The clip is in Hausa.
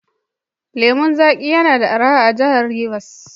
Lemon zaƙi yana araha a Jihar Rivers.